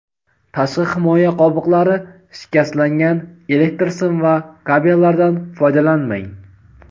Tashqi himoya qobiqlari shikastlangan elektr sim va kabellardan foydalanmang;.